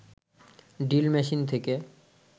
drill machine থেকে